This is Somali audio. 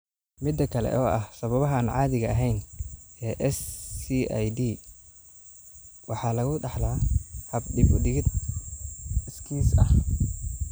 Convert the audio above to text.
Midda kale, oo ah sababaha aan caadiga ahayn ee SCID-da waxaa lagu dhaxlaa hab dib-u-dhigid iskiis ah.